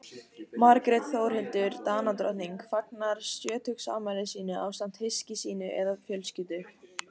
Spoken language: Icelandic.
margrét þórhildur danadrottning fagnar sjötugsafmæli sínu ásamt hyski sínu eða fjölskyldu